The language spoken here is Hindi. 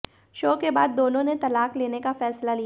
शो के बाद दोनों ने तलाक लेने का फैसला लिया